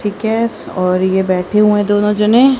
ठीक एस और ये बैठे हुए दोनों जने--